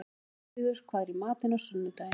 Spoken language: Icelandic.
Ketilríður, hvað er í matinn á sunnudaginn?